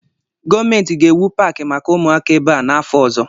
Gọọmenti ga-ewu Paakị maka ụmụaka ebe a n'afọ ọzọ